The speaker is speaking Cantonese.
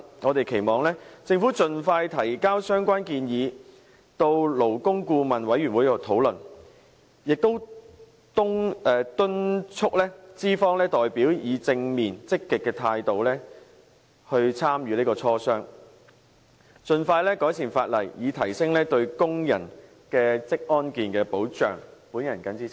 我們期望政府盡快提交相關建議，讓勞工顧問委員會討論，並且敦促資方代表以正面積極的態度參與磋商，盡快改善法例，以提升對工人的職安健保障。